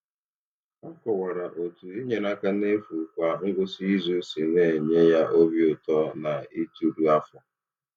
Ọ kọwara otú inyere aka n’efu kwa ngwụsị izu si na-enye ya obi ụtọ na ituru afọ.